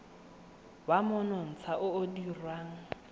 wa monontsha o o dirwang